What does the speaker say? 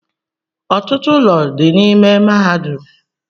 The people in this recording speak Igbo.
Ọtụtụ ụlọ dị n'ime mahadum